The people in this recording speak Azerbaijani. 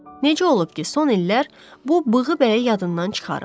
Necə olub ki, son illər bu bığbəyi yadından çıxarıb?